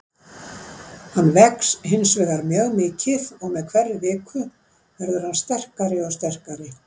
Hann vex hinsvegar mjög mikið og með hverri viku verður hann sterkari og sterkari.